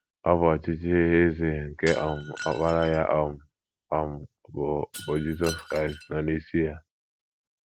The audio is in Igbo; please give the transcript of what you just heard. Ọ bụ ọchịchị eze nke um Ọkpara ya um, um bụ́ bụ́ Jizọs Kraịst, nọ n’isi ya.